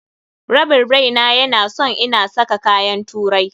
Rabin raina ya na son ina saka kayan turai.